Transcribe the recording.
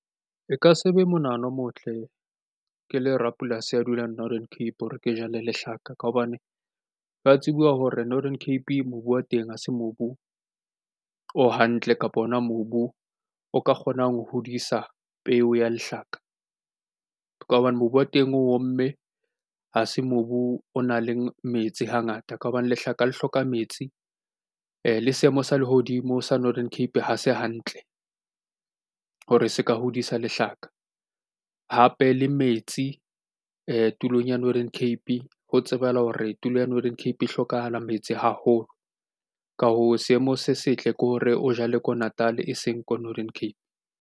E ka se be monahano o motle ke le rapolasi a dulang Northern Cape ke jale lehlaka ka hobane wa tseba hore Northern Cape mobu wa teng ha se mobu o hantle kapa ona mobu o ka kgonang ho hodisa peo ya lehlaka ka hobane mobu wa teng omme ha se mobu o nang le metsi hangata ka hobane lehlaka le hloka metsi le seemo sa lehodimo sa Northern Cape. Ha se hantle hore se ka hodisa lehlaka hape le metsi tulong ya Northern Cape. Ho tsebahala hore tulo ya Northern Cape hlokahala metsi haholo. Ka hoo, seemo se setle ke hore o jale ko Natal, e seng ko Northern Cape.